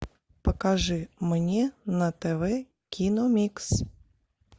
покажи мне на тв киномикс